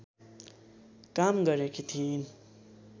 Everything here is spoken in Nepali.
काम गरेकी थिइन्